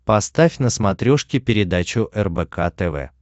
поставь на смотрешке передачу рбк тв